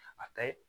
A ka ɲi